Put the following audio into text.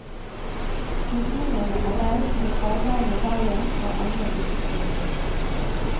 Bygningene er reist, men arbeidet med veien er ennå ikke påbegynt.